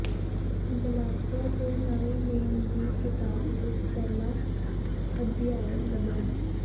Galatia ਦੇ ਨਵੇਂ ਨੇਮ ਦੀ ਕਿਤਾਬ ਵਿਚ ਪਹਿਲਾ ਅਧਿਆਇ ਲੱਭਣਾ